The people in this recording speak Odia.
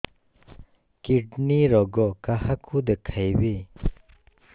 କିଡ଼ନୀ ରୋଗ କାହାକୁ ଦେଖେଇବି